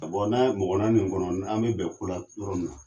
NKa bɔn an mɔgɔ naani ni kɔnɔ an be bɛn kola yɔrɔ min na